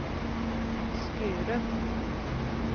Skurup